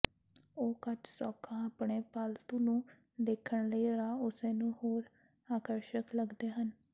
ਉਹ ਕੱਚ ਸੌਖਾ ਆਪਣੇ ਪਾਲਤੂ ਨੂੰ ਦੇਖਣ ਲਈ ਰਾਹ ਉਸੇ ਨੂੰ ਹੋਰ ਆਕਰਸ਼ਕ ਲੱਗਦੇ ਹਨ